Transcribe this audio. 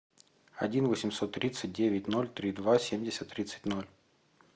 один восемьсот тридцать девять ноль три два семьдесят тридцать ноль